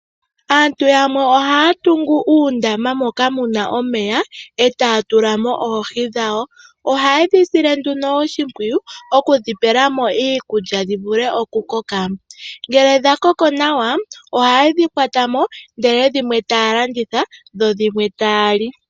Aatu yamwe ohaya tula moondamo etaya tulamo oohi dhawo. Ohayedhi sile oshimpwiyu okudhi pelamo iikulya dhivule okukoka. Ngele dhakoko nawa ohayedhi kwatamo ndele dhimwe taya landitha dhodhimwe taya li.